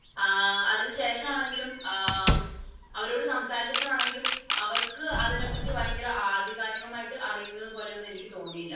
ആഹ് അതിനുശേഷം ആണെങ്കിലും ആഹ് അവരോട് സംസാരിച്ചപ്പോൾ ആണെങ്കിലും അവർക്ക് അതിനെ പറ്റി ഭയങ്കര ആധികാരികമായി അറിയുന്നതുപോലെ ഒന്നും എനിക്ക് തോന്നിയില്ല.